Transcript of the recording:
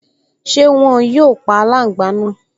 Ṣé wọn yóò pa aláǹgbá náà?